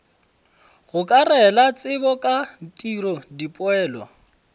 gokarela tsebo ka tiro dipoelo